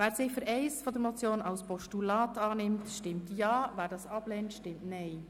Wer die Ziffer 1 der Motion als Postulat annimmt, stimmt Ja, wer dies ablehnt, stimmt Nein.